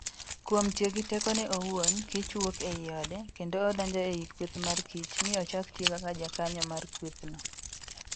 Kuom tiyo gi tekone owuon, kich wuok ei ode, kendo odonjo ei kweth mar kich, mi ochak tiyo kaka jakanyo mar kwethno.